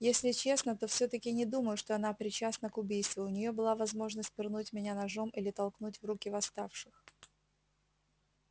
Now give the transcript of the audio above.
если честно то всё-таки не думаю что она причастна к убийству у неё была возможность пырнуть меня ножом или толкнуть в руки восставших